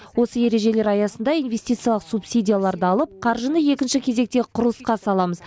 осы ережелер аясында инвестициялық субсидияларды алып қаржыны екінші кезектегі құрылысқа саламыз